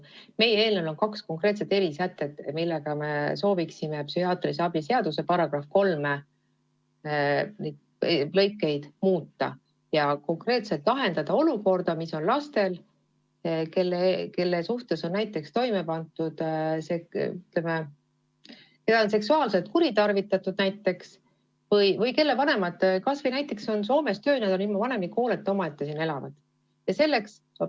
Meie eelnõus on kaks konkreetset erisätet, millega me soovime psühhiaatrilise abi seaduse § 3 praeguseid lõikeid muuta, et lahendada olukorda, milles on lapsed, kelle suhtes on toime pandud kuritegu, näiteks on neid seksuaalselt kuritarvitatud, või kelle vanemad on näiteks Soomes tööl ja lapsed on jäetud ilma vanemliku hooleta, nad elavad omaette.